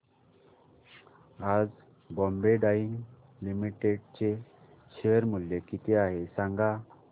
आज Bombay Dyeing Limited चे share मूल्य किती आहे सांगा